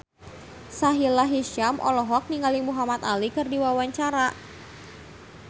Sahila Hisyam olohok ningali Muhamad Ali keur diwawancara